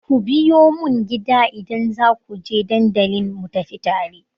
Ku biyo mun gida idan za ku je dandalin mu tafi tare!